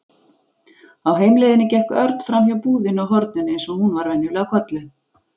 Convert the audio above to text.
Á heimleiðinni gekk Örn framhjá búðinni á horninu eins og hún var venjulega kölluð.